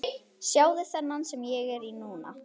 Sjáðu þennan sem ég er í núna?